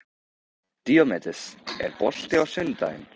Díómedes, er bolti á sunnudaginn?